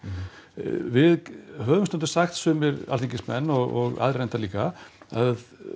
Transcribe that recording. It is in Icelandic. við höfum stundum sagt sumir Alþingismenn og aðrir reyndar líka að